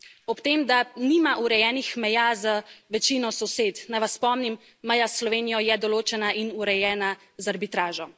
Ob tem, da nima urejenih meja z večino sosed, naj vas spomnim, meja s Slovenijo je določena in urejena z arbitražo.